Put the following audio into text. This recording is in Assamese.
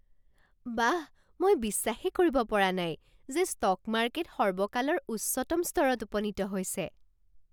বাহ, মই বিশ্বাসেই কৰিব পৰা নাই যে ষ্টক মাৰ্কেট সৰ্বকালৰ উচ্চতম স্তৰত উপনীত হৈছে!